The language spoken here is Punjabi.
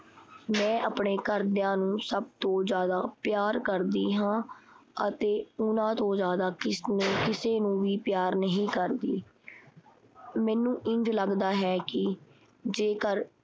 ਮੈਂ ਆਪਣੇ ਘਰ ਦਿਆਂ ਨੂੰ ਸਭ ਤੋਂ ਜ਼ਿਆਦਾ ਪਿਆਰ ਕਰਦੀ ਹਾਂ ਅਤੇ ਉਹਨਾਂ ਤੋਂ ਜ਼ਿਆਦਾ ਕਿਸ ਨੂੰ ਕਿਸੇ ਨੂੰ ਵੀ ਪਿਆਰ ਨਹੀਂ ਕਰਦੀ। ਮੈਨੂੰ ਇੰਝ ਲੱਗਦਾ ਹੈ ਕੀ ਜੇਕਰ